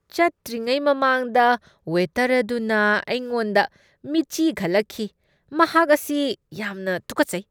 ꯆꯠꯇ꯭ꯔꯤꯉꯩ ꯃꯃꯥꯡꯗ ꯋꯦꯇꯔ ꯑꯗꯨꯅ ꯑꯩꯉꯣꯟꯗ ꯃꯤꯠꯆꯤ ꯈꯠꯂꯛꯈꯤ꯫ ꯃꯍꯥꯛ ꯑꯁꯤ ꯌꯥꯝꯅ ꯇꯨꯀꯠꯆꯩꯏ꯫